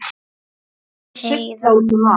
Heiða mín.